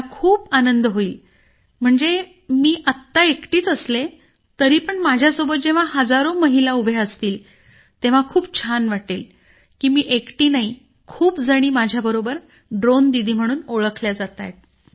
मला खूप आनंद होईल म्हणजे मी आत्ता एकटीच असले तरी पण माझ्यासोबत जेव्हा हजारो महिला उभ्या असतील तेव्हा छान वाटेल की मी एकटी नाही खूप जणी माझ्याबरोबर ड्रोन दीदी म्हणून ओळखल्या जातायत